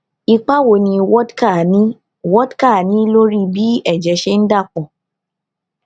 ipa wo ni wódká ní wódká ní lórí bí èjè ṣe ń dà pò